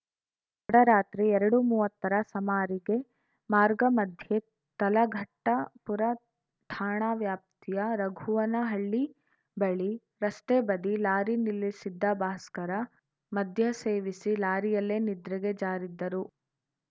ಡರಾತ್ರಿ ಎರಡುಮೂವತ್ತರ ಸಮಾರಿಗೆ ಮಾರ್ಗ ಮಧ್ಯೆ ತಲಘಟ್ಟಪುರ ಠಾಣಾ ವ್ಯಾಪ್ತಿಯ ರಘುವನಹಳ್ಳಿ ಬಳಿ ರಸ್ತೆ ಬದಿ ಲಾರಿ ನಿಲ್ಲಿಸಿದ್ದ ಭಾಸ್ಕರ ಮದ್ಯ ಸೇವಿಸಿ ಲಾರಿಯಲ್ಲೇ ನಿದ್ರೆಗೆ ಜಾರಿದ್ದರು